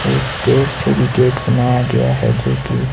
एक पेड़ से भी गेट बनाया गया है जो की--